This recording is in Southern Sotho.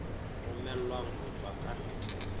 romellwang ho tswa ka ntle